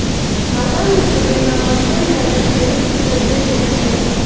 આગામી ચૂંટણીમાં મતદાન ભાજપ વિરૂધ્ધ થશે તે નક્કી છે